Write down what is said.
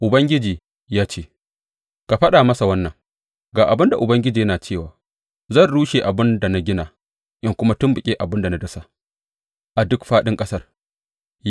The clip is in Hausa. Ubangiji ya ce, Ka faɗa masa wannan, Ga abin da Ubangiji yana cewa, zan rushe abin da na gina in kuma tumɓuke abin da na dasa, a duk fāɗin ƙasar.